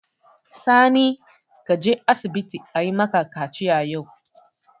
Sani, ka je asibiti ayi maka kaciya yau!